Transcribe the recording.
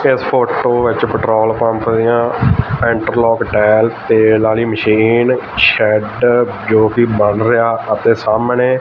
ਇਸ ਫ਼ੋਟੋ ਵਿੱਚ petrol pump ਦਿਆਂ ਇੰਟਰਲਾਕ ਟਾਈਲਸ ਤੇਲ ਆਲੀ ਮਸ਼ੀਨ ਸ਼ੈੱਡ ਜੋਕੀ ਬਣ ਰਿਹਾ ਅਤੇ ਸਾਹਮਣੇ--